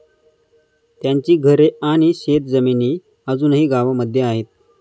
त्यांची घरे आणि शेत जमिनी अजूनही गावामध्ये आहेत.